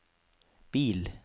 bil